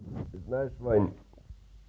ты знаешь ваню